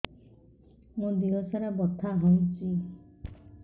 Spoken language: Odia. ମୋ ଦିହସାରା ବଥା ହଉଚି